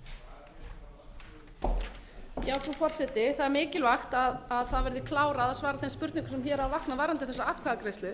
að það verði klárað að svara þeim spurningum sem hér hafa vaknað varðandi þessa atkvæðagreiðslu